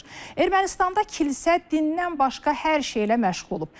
Ermənistanda kilsə dindən başqa hər şeylə məşğul olub.